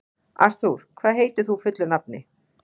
Artúr, hvað heitir þú fullu nafni?